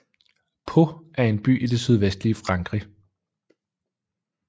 Pau er en by i det sydvestlige Frankrig